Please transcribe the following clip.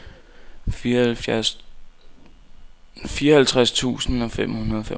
fireoghalvtreds tusind og femoghalvfems